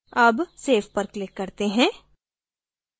अब save पर click करते हैं